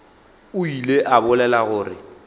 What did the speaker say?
o ile a bolela gore